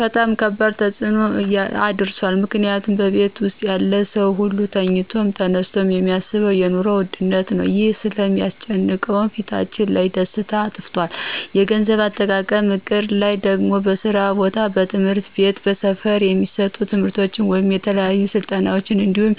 በጣም ከባድ ተፅኖ እሳድሯል ምክንያቱም በቤት ውስጥ ያለው ሰው ሁሉ ተኝቶም ተነስቶም የሚያሳስበው የኑሮ ውድነት ነው ይህም ስለሚስጨንቀው ፊታችን ላይ ደስታ አጥፍቶብናል። የገንዘብ አጠቃቀም እቅድ ይህ ደግሞ በስራ ቦታ፣ በትምህርት ቤት፣ በስፈር የሚሰጡ ትምርቶች ወይም የተለያዩ ስልጠናዎች እንዲሁም